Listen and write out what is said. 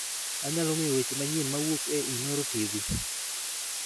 Anyalo ng'eyo weche manyien mawuok e inooro tv